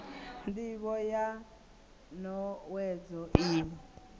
ndivho ya n owedzo iyi